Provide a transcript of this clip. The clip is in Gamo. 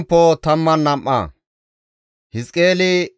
GODAA qaalay taakko yiidi,